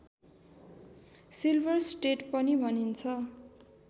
silver state पनि भनिन्छ